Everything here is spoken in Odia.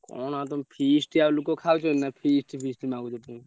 କଣ ଆଉ ତମ feast ଆଉ ଲୋକ ଖାଉଛନ୍ତି ନା feast feast ମାଗୁଛ।